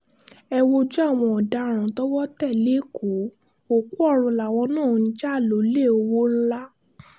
ẹ wojú àwọn ọ̀daràn tọwọ́ tẹ̀ lẹ́kọ̀ọ́ òkú ọ̀run làwọn máa ń jà lólè ọwọ́ ńlá